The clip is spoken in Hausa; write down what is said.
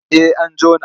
En an jona.